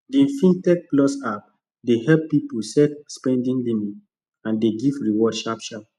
the fintechplus app dey help people set spending limit and dey give reward sharpsharp